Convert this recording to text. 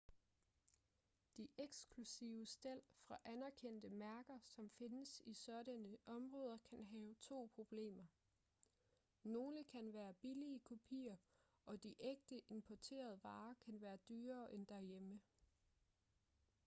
de eksklusive stel fra anerkendte mærker som findes i sådanne områder kan have to problemer nogle kan være billige kopier og de ægte importerede varer kan være dyrere end derhjemme